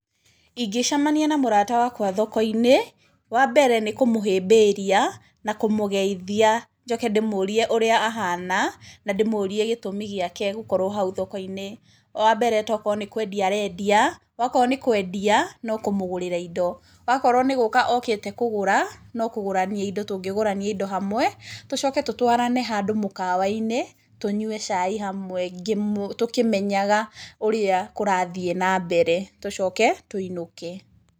Ingĩcemania na mũrata wakwa thoko-inĩ, wa mbere nĩ kũmũhĩmbĩria na kũmũgeithia njoke ndĩmũrie ũrĩa ahana na ndĩmũrie gĩtũmi gĩake gũkorwo hau thoko-inĩ. Wa mbere tokorwo nĩ kwendia arendia. Akorwo nĩ kwendia nao kũmũgũrĩra indo, wakorwo nĩ gũka okĩte kũgũra, no kũgũrania tũngĩgũrania indo hamwe tũcoke tũtwarane handũ mũkawa-inĩ, tũnyue cai hamwe tũkĩmenyaga ũrĩa kũrathiĩ na mbere , tũcoke tũinũke.